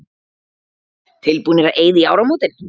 Tilbúnir að eyða í áramótin